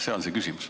See on minu küsimus.